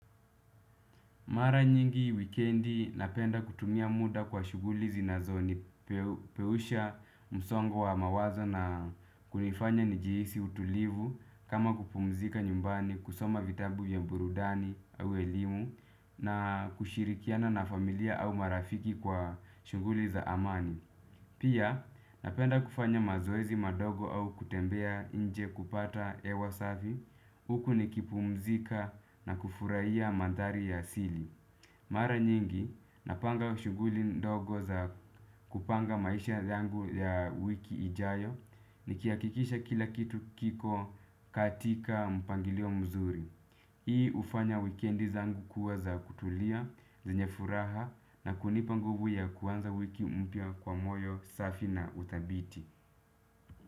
Mara nyingi wikendi napenda kutumia muda kwa shuguli zinazo ni peusha msongo wa mawazo na kunifanya njihisi utulivu kama kupumzika nyumbani kusoma vitabu vya burudani au elimu na kushirikiana na familia au marafiki kwa shuguli za amani. Pia, napenda kufanya mazoezi madogo au kutembea nje kupata hewa safi, huku nikipumzika na kufuraia mandhari ya asili. Mara nyingi, napanga shuguli ndogo za kupanga maisha yangu ya wiki ijayo, nikiakikisha kila kitu kiko katika mpangilio mzuri. Hii ufanya weekendi zangu kuwa za kutulia, zenye furaha na kunipa nguvu ya kuanza wiki mpya kwa moyo safi na uthabiti.